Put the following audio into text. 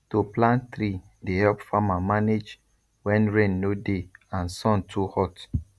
to plant tree dey help farmer manage when rain no dey and sun too hot